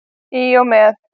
Í og með.